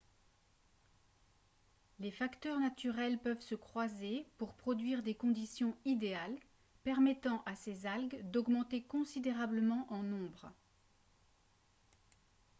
les facteurs naturels peuvent se croiser pour produire des conditions idéales permettant à ces algues d'augmenter considérablement en nombre